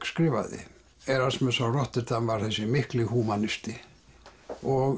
skrifaði Erasmus frá Rotterdam var þessi mikli húmanisti og